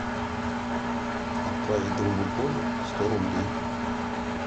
отправить другу коле сто рублей